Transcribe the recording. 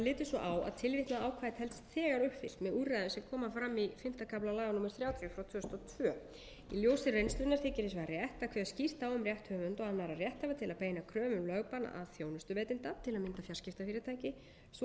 úrræðum sem fram koma í fimmta kafla laga númer þrjátíu tvö þúsund og tvö í ljósi reynslunnar þykir hins vegar rétt að kveða skýrt á um rétt höfunda og annarra rétthafa til að beina kröfu um lögbann að þjónustuveitanda til að mynda fjarskiptafyrirtæki svo að